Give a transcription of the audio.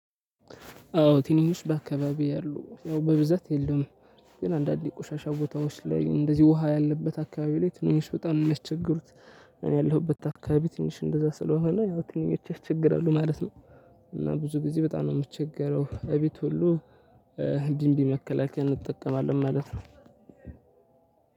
አዎ ትንኞች በአካባቢው ያሉ ያው በብዛት የለም ግን አንዳንድ የቆሻሻ ቦታዎች ላይ እንደዚህ ውሃ ያለበት አካባቢ ላይ ትንኞች በጣም ነው የሚያስቸግሩት። እኔ ያለሁበት አካባቢ ትንሽ እንደዛ ስለሆነ ያው ትንኞች ያስቸግራሉ ማለት ነው። እና ብዙ ጊዜ በጣም ነው የምቸገረው እቤት ሁሉ። እ ቢንቢ መከላከያ እንጠቀማለን ማለት ነው።